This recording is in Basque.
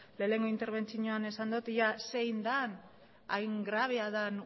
lehenengo interbentzioan esan dut ea zein den hain grabea den